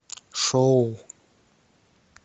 шоу